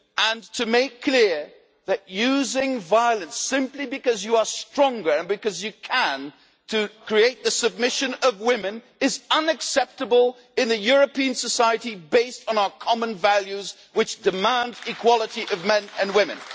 It is about making it clear that using violence, simply because you are stronger and because you can, to create the submission of women is unacceptable in a European society based on our common values, which demand equality of men and women.